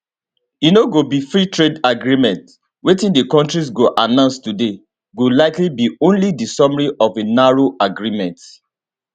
e no go be freetrade agreement wetin di kontris go announce today go likely be only di summary of a narrow agreement